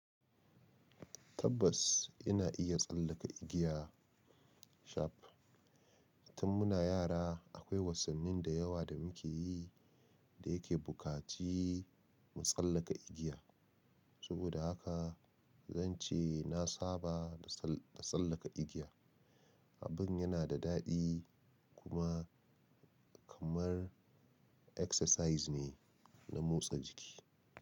Tabbas ina iya tsallaka igiya. Cab, tun muna yara akwai wasannin da yawa da muke yi da yake buƙaci mu tsallaka igiya. Saboda haka zan ce na saba da tsallaka igiya. Abin yana da daɗi kuma kamar exercise ne na motsa jiki.